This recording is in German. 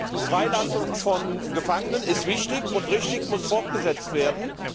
Die Freilassung von Gefangenen ist wichtig und richtig und muss fortgesetzt werden.